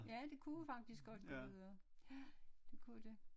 Ja det kunne jo faktisk godt gå videre ja det kunne det